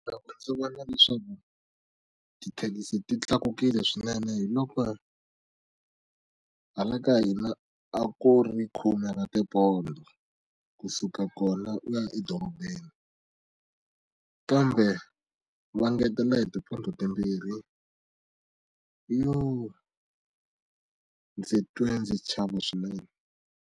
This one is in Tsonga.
Loko ndzi vona leswaku tithekisi ti tlakukile swinene hiloko hala ka hina a ku ri khume ra tipondho kusuka kona u ya edorobeni kambe va ngetela hi tipondho timbirhi yo ndzi twe ndzi chava swinene.